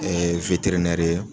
ye